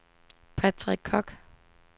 Patrick Koch